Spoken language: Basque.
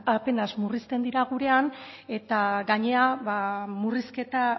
apenas murrizten dira gurean eta gainera murrizketa